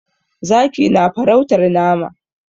Zaki na farautar nama.